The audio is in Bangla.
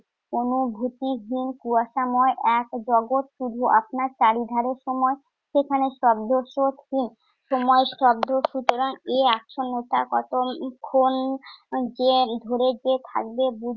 অনুভুতিহীন কুয়াশাময় এক জগত। শুধু আপনার চারিধারে সময় সেখানে হীন সময় শব্দ সুতরাং এই আচ্ছন্নতা কত উম ক্ষণ যে~ ধরে যে থাকবে